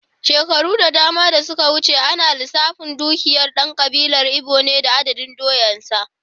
Shekaru da dama da suka wuce, ana lissafin dukiyar dan kabilar Igbo ne da adadin doyansa.